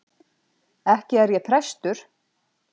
Ekki er ég prestur.